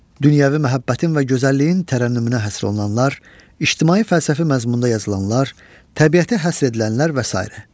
Dünyəvi məhəbbətin və gözəlliyin tərənnümünə həsr olunanlar, ictimai fəlsəfi məzmunda yazılanlar, təbiətə həsr edilənlər və sairə.